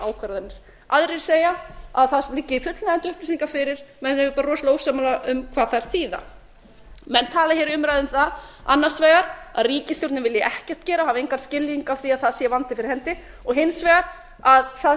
ákvarðanir aðrir segja að það liggi fullnægjandi upplýsingar fyrir menn eru bara rosalega ósammála um hvað þær þýða menn tala hér í umræðu um það annars vegar að ríkisstjórnin vilji ekkert gera hafi engan skilning á því að það sé vandi fyrir hendi og hins vegar að það